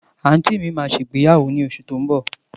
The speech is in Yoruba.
Àǹtí mi máa ṣègbéyàwó ní oṣù tó ń bọ̀.